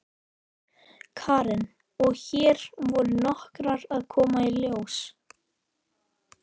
Karen: Og hér voru nokkrar að koma í ljós?